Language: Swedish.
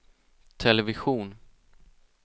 television